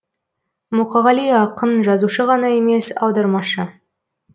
мұқағали ақын жазушы ғана емес аудармашы